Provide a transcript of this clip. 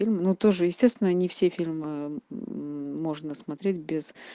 ну тоже естественно не все фильмы можно смотреть без